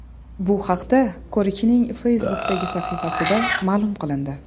Bu haqda ko‘rikning Facebook’dagi sahifasida ma’lum qilindi .